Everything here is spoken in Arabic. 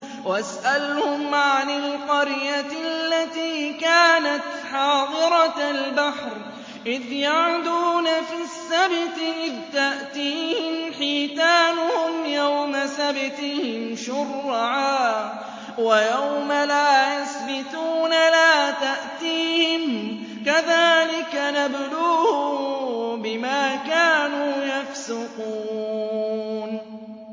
وَاسْأَلْهُمْ عَنِ الْقَرْيَةِ الَّتِي كَانَتْ حَاضِرَةَ الْبَحْرِ إِذْ يَعْدُونَ فِي السَّبْتِ إِذْ تَأْتِيهِمْ حِيتَانُهُمْ يَوْمَ سَبْتِهِمْ شُرَّعًا وَيَوْمَ لَا يَسْبِتُونَ ۙ لَا تَأْتِيهِمْ ۚ كَذَٰلِكَ نَبْلُوهُم بِمَا كَانُوا يَفْسُقُونَ